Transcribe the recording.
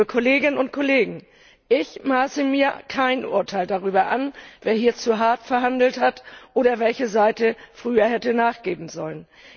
Liebe Kolleginnen und Kollegen, ich maße mir kein Urteil darüber an, wer hier zu hart verhandelt hat, oder welche Seite früher hätte nachgeben sollen.